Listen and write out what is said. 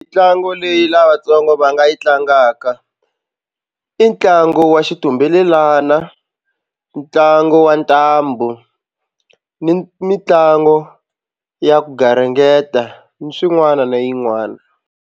Mitlangu leyi lavatsongo va nga yi tlangaka i ntlangu wa xitumbelelana ntlangu wa ntambu ni mitlangu ya ku garingeta ni swin'wana na yin'wana.